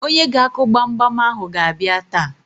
Onye ga-akụ gbamgbam ahụ ga-abịa taa.